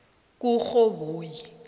kurhoboyi